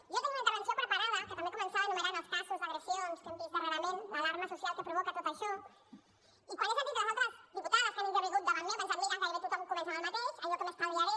jo tenia una intervenció preparada que també començava enumerant els casos d’agressions que hem vist darrerament l’alarma social que provoca tot això i quan he sentit les altres diputades que han intervingut davant meu he pensat mira gairebé tothom comença amb el mateix allò que m’estalviaré